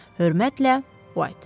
Hörmətlə White.